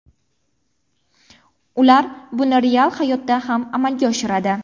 Ular buni real hayotda ham amalga oshiradi.